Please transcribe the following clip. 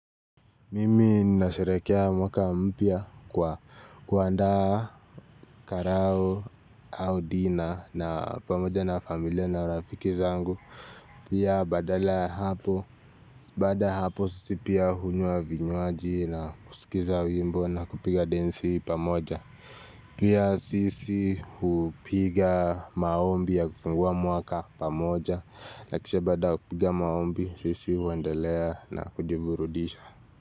Mimi nasherehekea mwaka mpya kwa kuandaa karao au dina na pamoja na familia na rafiki zangu. Pia badala ya hapo, baada hapo sisi pia hunywa vinywaji na kusikiza wimbo na kupiga densi pamoja. Pia sisi hupiga maombi ya kufungua mwaka pamoja na kisha baada ya kupiga maombi sisi uendelea na kujiburudisha.